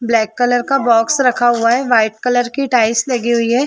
Black colour का box रखा हुआ है व्हाइट कलर की टाइल्स लगी हुई है।